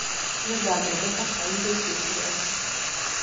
Nĩngathondeka cai rũciũ kĩroko